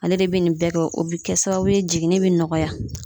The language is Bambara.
Ale de bɛ nin bɛɛ kɛ , o bɛ kɛ sababu ye jiginin bɛ nɔgɔya.